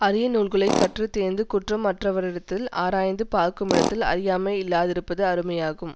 அரிய நூல்களைத் கற்று தேர்ந்து குற்றம் அற்றவரிடத்தில் ஆராய்ந்து பார்க்குமிடத்தில் அறியாமை இல்லாதிருப்பது அருமையாகும்